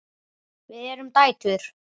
Við erum dætur!